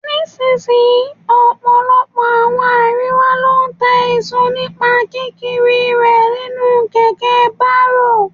Ní sisìyín, ọ̀pọ̀lọpọ̀ àwọn àríwá ló ń ta èso nípa kí kiri rè nínú kẹ̀kẹ́ bárò.